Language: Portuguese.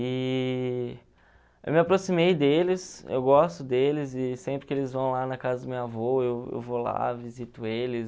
E eu me aproximei deles, eu gosto deles e sempre que eles vão lá na casa do meu avô, eu eu vou lá, visito eles.